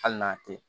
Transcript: Hali n'a tɛ